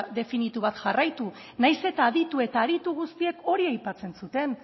definitu bat jarraitu nahiz eta aditu eta aritu guztiek hori aipatzen zuten